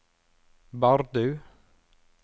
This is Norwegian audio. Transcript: Bardu